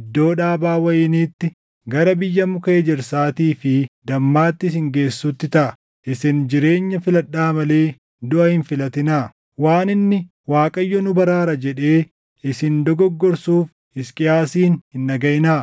iddoo dhaabaa wayiniitti, gara biyya muka ejersaatii fi dammaatti isin geessutti taʼa. Isin jireenya filadhaa malee duʼa hin filatinaa! “Waan inni, ‘ Waaqayyo nu baraara’ jedhee isin dogoggorsuuf Hisqiyaasin hin dhagaʼinaa.